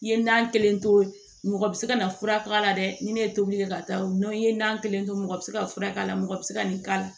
I ye na kelen to mɔgɔ bi se ka na fura k'a la dɛ ni ne ye tobili kɛ ka taa o ye na kelen to mɔgɔ bi se ka fura k'a la mɔgɔ bi se ka nin k'a la